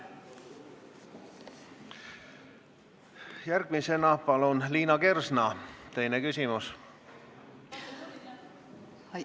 Järgmisena palun Liina Kersna, teine küsimus!